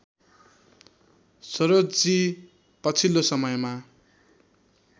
सरोजजी पछिल्लो समयमा